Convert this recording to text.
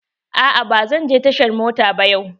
A'a ba zan je tashar mota ba yau.